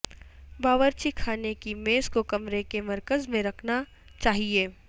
باورچی خانے کی میز کو کمرے کے مرکز میں رکھنا چاہئے